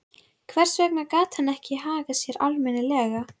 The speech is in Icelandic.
Hvers vegna gat hann ekki hagað sér almennilega?